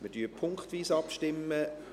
Wir stimmen punktweise ab.